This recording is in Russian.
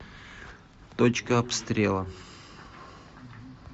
точка обстрела